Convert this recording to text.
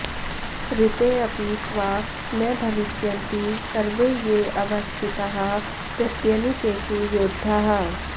ऋतेऽपि त्वा न भविष्यन्ति सर्वे येऽवस्थिताः प्रत्यनीकेषु योधाः